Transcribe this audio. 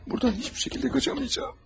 Buradan heç bir şəkildə qaçamayacam.